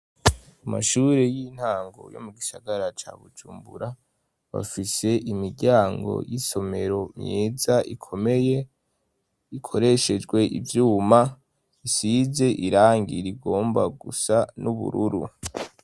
Amashuri y'intango yo mu gisagara ca bucumbura bafise imiryango y'isomero myiza ikomeye ikoreshejwe ivyuma isize irangi rigomba gusa n'ubururu.